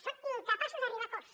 són incapaços d’arribar a acords